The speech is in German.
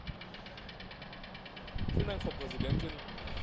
Frau Präsidentin, sehr verehrte Damen und Herren!